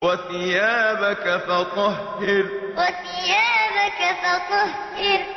وَثِيَابَكَ فَطَهِّرْ وَثِيَابَكَ فَطَهِّرْ